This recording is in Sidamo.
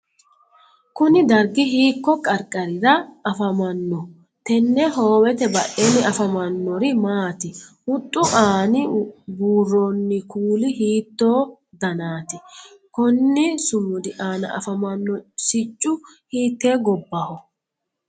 Kunni dargi hiiko qarqarirra afammanno? Tene hoowete badheenni afamanori maati? Huxu aanna buuroonni kuuli hiittooho danaati? Konni sumudi aanna afamano siccu hiitee gobbaho?